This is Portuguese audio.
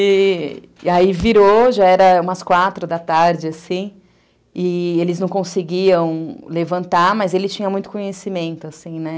E aí virou, já era umas quatro da tarde, assim, e eles não conseguiam levantar, mas ele tinha muito conhecimento, assim, né?